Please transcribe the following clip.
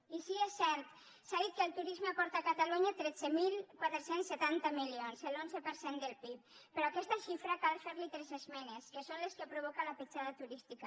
i sí és cert s’ha dit que el turisme aporta a catalunya tretze mil quatre cents i setanta milions l’onze per cent del pib però a aquesta xifra cal fer li tres esmenes que són les que provoca la petjada turística